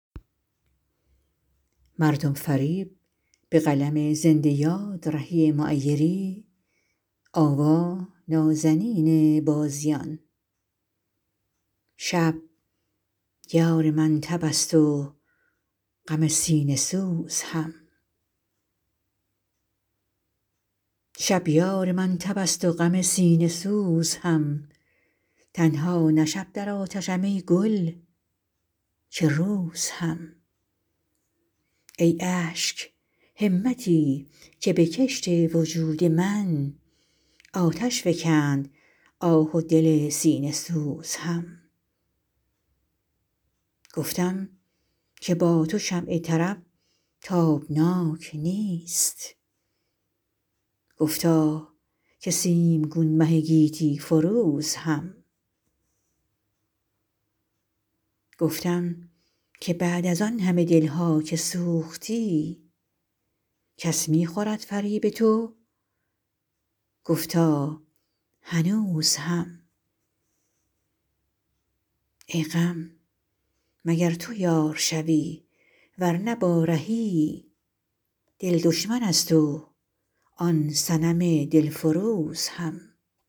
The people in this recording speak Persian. شب یار من تب است و غم سینه سوز هم تنها نه شب در آتشم ای گل که روز هم ای اشک همتی که به کشت وجود من آتش فکند آه و دل سینه سوز هم گفتم که با تو شمع طرب تابناک نیست گفتا که سیمگون مه گیتی فروز هم گفتم که بعد از آن همه دل ها که سوختی کس می خورد فریب تو گفتا هنوز هم ای غم مگر تو یار شوی ورنه با رهی دل دشمن است و آن صنم دل فروز هم